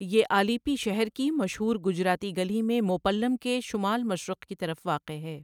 یہ آلیپی شہر کی مشہور گجراتی گلی میں موپّلم کے شمال مشرق کی طرف واقع ہے۔